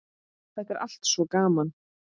Það er allt svo gaman.